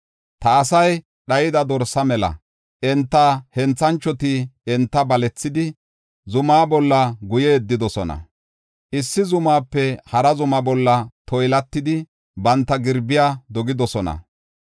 “Ta asay dhayida dorsa mela; enta henthanchoti enta balethidi, zuma bolla guye yeddidosona. Issi zumaape hara zumaa bolla toylatidi banta girbiya dogidosona.